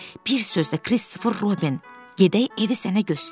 Bir sözlə, Kristofer Robin, gedək evi sənə göstərim.